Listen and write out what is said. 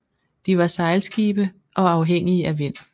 De var sejlskibe og afhængige af vind